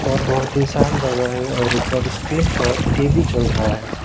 और बहुत ही शांत जगह है और ऊपर स्क्रीन पर टी_वी चल रहा है।